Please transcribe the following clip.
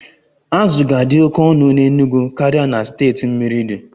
Azụ ga-adị oke ọnụ n'Enugwu karịa na steeti mmiri di